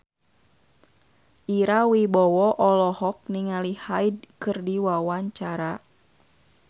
Ira Wibowo olohok ningali Hyde keur diwawancara